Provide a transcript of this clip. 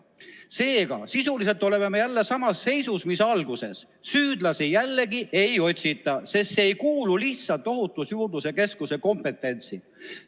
Seega, sisuliselt oleme jälle samas seisus, mis alguses: süüdlasi jällegi ei otsita, sest see ei kuulu lihtsalt Ohutusjuurdluse Keskuse kompetentsi.